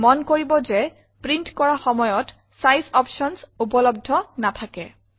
মন কৰিব যে প্ৰিণ্ট কৰা সময়ত চাইজ অপশ্যনছ উপলব্ধ নেথাকে